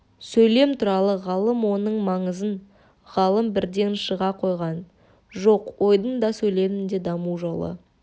сөйлем туралы ғалым оның маңызын ғалым бірден шыға қойған жоқ ойдың да сөйлемнің де даму жолы